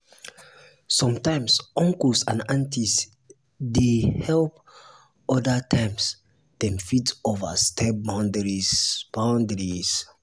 sometimes uncles and um aunties dey um help um other times dem fit overstep boundaries. boundaries.